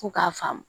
Fo k'a faamu